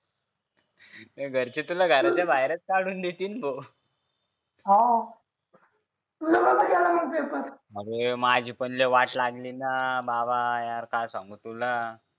घरचे तुला घराच्या बाहेरच काढून देतील भो हा तुझा कसा गेला पेपर अरे माझी पण लय वाट लागली ना भावा यार काय सांगू तुला